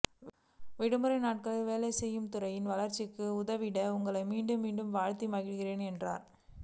விடுமுறை நாட்களிலும் வேலை செய்து துறையின் வளர்ச்சிக்கு உதவிட்ட உங்களை மீண்டும் மீண்டும் வாழ்த்தி மகிழ்கிறேன் என்று